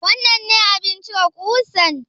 Wannan ne abin cire ƙusan?